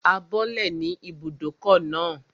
A bọ́lẹ̀ ní ibùdókọ̀ náà